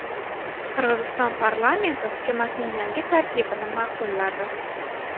Qirg‘iziston parlamenti hukumatning yangi tarkibini ma’qulladi.